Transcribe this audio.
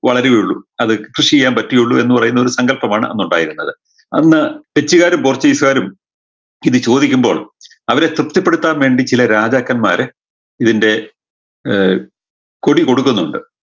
വളരുകയുള്ളു അത് കൃഷി ചെയ്യാൻ പറ്റിയുള്ളൂ എന്ന് പറയുന്ന ഒരു സങ്കൽപമാണ് അന്നുണ്ടായിരുന്നത് അന്ന് ഡച്ചുകാര് പോർച്ചിഗീസുകാരും ഇത് ചോദിക്കുമ്പോൾ അവരെ തൃപ്തിപ്പെടുത്താൻ ചില രാജാക്കന്മാര് ഇതിന്റെ ഏർ കൊടി കൊടുക്കുന്നുണ്ട്